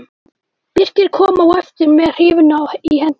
Birkir kom á eftir með hrífuna í hendinni.